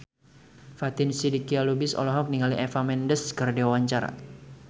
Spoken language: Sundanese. Fatin Shidqia Lubis olohok ningali Eva Mendes keur diwawancara